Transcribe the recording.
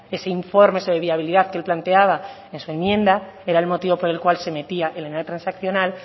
ese informe sobre viabilidad que él planteaba en su enmienda era el motivo por el cual se metía la enmienda transaccional